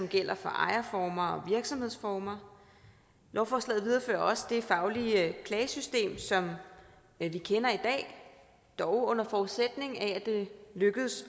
gælder for ejerformer og virksomhedsformer lovforslaget viderefører også det faglige klagesystem som vi kender i dag dog under forudsætning af at det lykkes